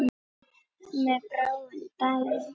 Mér brá um daginn.